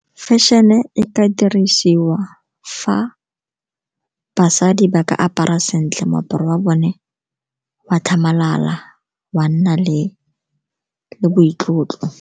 Fashion-e e ka dirisiwa fa basadi ba ka apara sentle, moaparo wa bone wa tlhamalala, wa nna le boitlotlo.